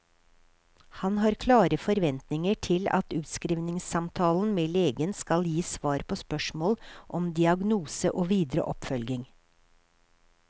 Han har klare forventninger til at utskrivningssamtalen med legen skal gi svar på spørsmål om diagnose og videre oppfølging.